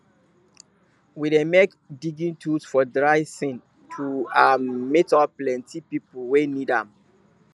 we dey make digging tools for dry sean to um meet up plenty people wey need am